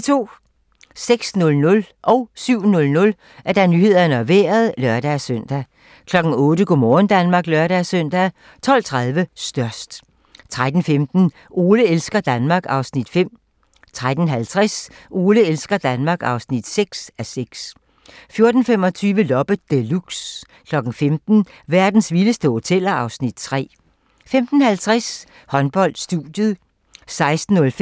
06:00: Nyhederne og Vejret (lør-søn) 07:00: Nyhederne og Vejret (lør-søn) 08:00: Go' morgen Danmark (lør-søn) 12:30: Størst 13:15: Ole elsker Danmark (5:6) 13:50: Ole elsker Danmark (6:6) 14:25: Loppe Deluxe 15:00: Verdens vildeste hoteller (Afs. 3) 15:50: Håndbold: Studiet 16:05: Håndbold: København-Viborg (k)